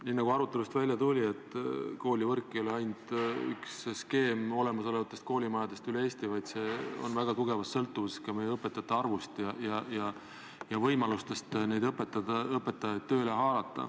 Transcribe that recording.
Nii nagu arutlusest välja tuli, koolivõrk ei ole ainult olemasolevate koolimajade skeem üle Eesti, vaid see on väga tugevas sõltuvuses ka õpetajate arvust ja võimalustest õpetajaid tööga haarata.